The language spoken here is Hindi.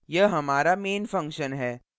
यह हमारा main function है